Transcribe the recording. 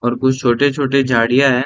और कुछ छोटे-छोटे झाड़ियां है |